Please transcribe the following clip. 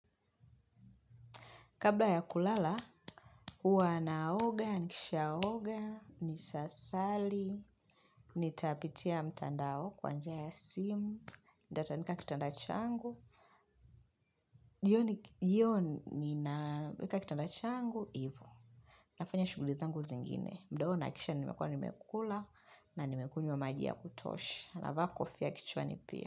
Kabla ya kulala, huwa naoga, nikishaoga, ni sasali, nitapitia mtandao kwa njia ya simu, nitatandika kitanda changu, jioni naeka kitanda changu hivo. Nafanya shuguli zangu zingine, mdoona nahakisha nimekua nimekula, na nimekunywa maji ya kutosha. Navaa kofia ya kichwani pia.